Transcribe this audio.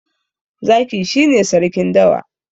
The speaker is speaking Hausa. Zaki shi ne Sarkin dawa.